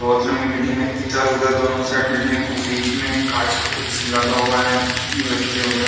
बहोत लंबी बिल्डिंग है। इधर-उधर दोनो साइड बिल्डिंग है। वो बीच में कांच का कुछ लगा हुआ है वगैरह।